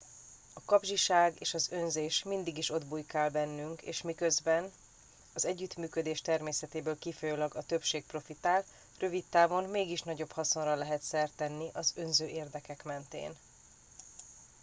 a kapzsiság és az önzés mindig is ott bujkál bennünk és miközben az együttműködés természetéből kifolyólag a többség profitál rövid távon mégis nagyobb haszonra lehet szert tenni az önző érdekek mentén